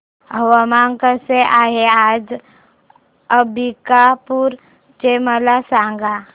हवामान कसे आहे आज अंबिकापूर चे मला सांगा